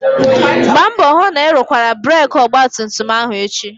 Gbaa mbọ hụ na ị rụkwara breeki ọgbatumtum ahụ echi!